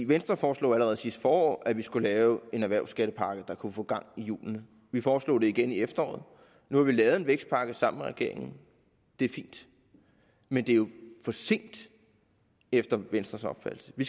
venstre foreslog allerede sidste forår at vi skulle lave en erhvervsskattepakke der kunne få gang i hjulene vi foreslog det igen i efteråret nu har vi lavet en vækstpakke sammen med regeringen det er fint men det er jo for sent efter venstres opfattelse vi